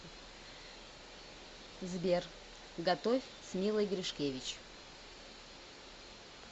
сбер готовь с милой гришкевич